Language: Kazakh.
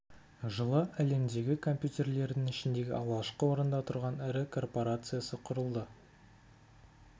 жылы әлемдегі компьютерлердің ішіндегі алғашқы орында тұрған ірі корпорациясы құрылды